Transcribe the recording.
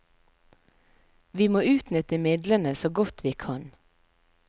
Vi må utnytte midlene så godt vi kan.